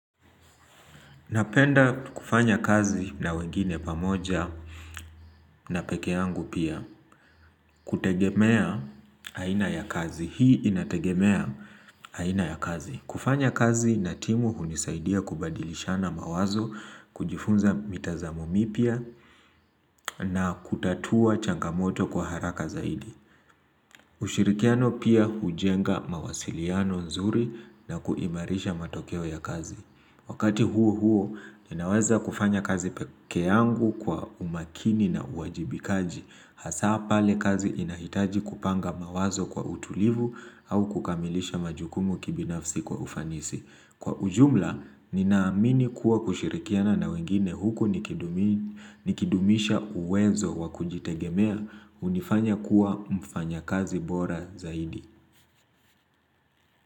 Napenda kufanya kazi na wengine pamoja na pekeangu pia kutegemea haina ya kazi. Hii inategemea haina ya kazi. Kufanya kazi na timu hunisaidia kubadilishana mawazo kujifunza mitazamu mipia na kutatua changamoto kwa haraka zaidi. Ushirikiano pia hujenga mawasiliano nzuri na kuimarisha matokeo ya kazi. Wakati huo huo ninaweza kufanya kazi peke yangu kwa umakini na uwajibikaji hasa pale kazi inahitaji kupanga mawazo kwa utulivu au kukamilisha majukumu kibinafsi kwa ufanisi. Kwa ujumla ninaamini kuwa kushirikiana na wengine huku nikidumisha uwezo wakujitegemea unifanya kuwa mfanya kazi bora zaidi.